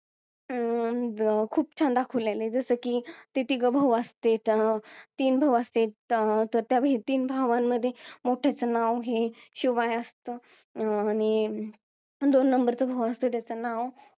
अं खूप छान दाखवलेला आहे जसं की ते तिघ भाऊ असतेत तीन भाऊ असते तर त्या तीन भावांमध्ये मोठ्याचं नाव हे शिवाय असतं अं आणि दोन नंबर च भाऊ असतो त्याचं नाव